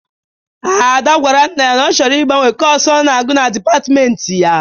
Ada gwara nna ya na ọ chọrọ ị gbanwe kọs ọ na-agụ na dịpatmenti ya.